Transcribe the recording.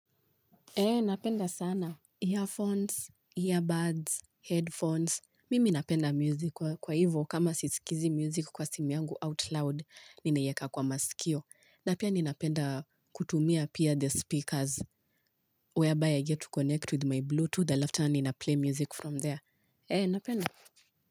Eee napenda sana. Earphones, earbuds, headphones. Mimi napenda music kwa hivyo kama sisikizi music kwa simi yangu out loud, ninaiyeka kwa masikio. Na pia ninapenda kutumia pia the speakers whereby I get to connect with my Bluetooth after ninaplay music from there. Eee napenda.